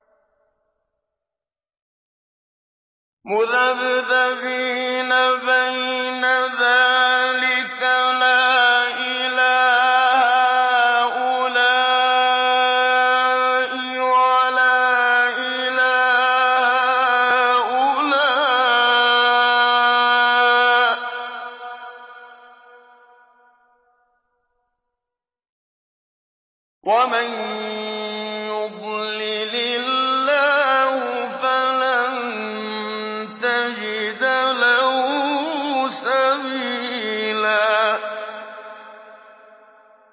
مُّذَبْذَبِينَ بَيْنَ ذَٰلِكَ لَا إِلَىٰ هَٰؤُلَاءِ وَلَا إِلَىٰ هَٰؤُلَاءِ ۚ وَمَن يُضْلِلِ اللَّهُ فَلَن تَجِدَ لَهُ سَبِيلًا